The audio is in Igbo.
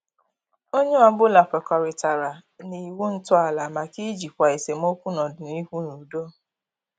Onye ọbụla kwekọritara na iwu ntọala maka ijikwa esemokwu n'ọdịnihu n' udo.